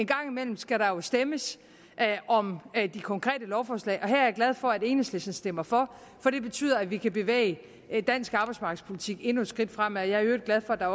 gang imellem skal der jo stemmes om de konkrete lovforslag og her er jeg glad for at enhedslisten stemmer for for det betyder at vi kan bevæge dansk arbejdsmarkedspolitik endnu et skridt fremad jeg er i øvrigt glad for at